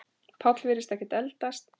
Páll virðist ekkert eldast.